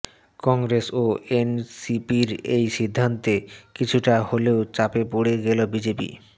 কংগ্রেস ও এনসিপির এই সিদ্ধান্তে কিছুটা হলেও চাপে পড়ে গেল বিজেপি